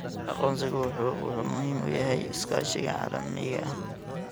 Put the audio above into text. Aqoonsigu wuxuu muhiim u yahay iskaashiga caalamiga ah.